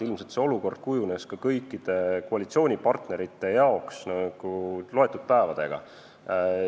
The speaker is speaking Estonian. Ilmselt see olukord muutus kõikide koalitsioonipartnerite jaoks mõne päevaga.